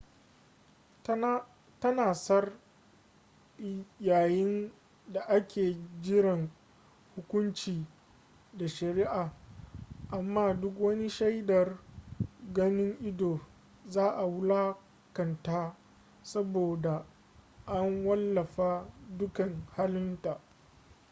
tana tsar yayin daake jiran hukunci da sharia amma duk wani shaidar ganin ido za a wulakanta saboda an wallafa dukan halin ta